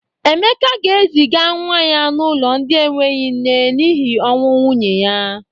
Emeka ga-eziga nwa ya n'ụlọ ndị enweghi nne n'hi ọnwụ nwunye ya.